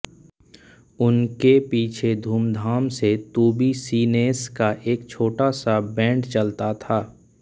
उनके पीछे धूमधाम से तुबिसिनेस का एक छोटा सा बैंड चलता था